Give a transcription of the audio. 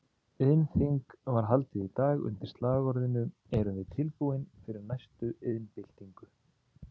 Iðnþing var haldið í dag undir slagorðinu Erum við tilbúin fyrir næstu iðnbyltingu?